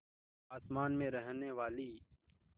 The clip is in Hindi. आसमान में रहने वाली